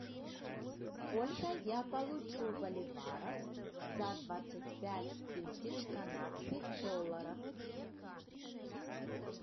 сколько я получу боливаров за двадцать пять тысяч канадских долларов